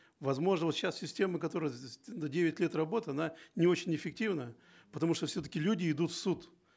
возможно вот сейчас система которая за девять лет работы она не очень эффективна потому что все таки люди идут в суд